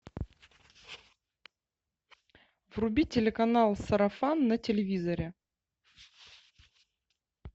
вруби телеканал сарафан на телевизоре